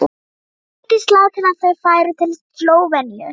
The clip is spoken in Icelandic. Vigdís lagði til að þau færu til Slóveníu.